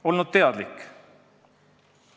– olnud asjast teadlik.